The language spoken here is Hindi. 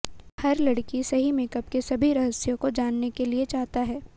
हर लड़की सही मेकअप के सभी रहस्यों को जानने के लिए चाहता है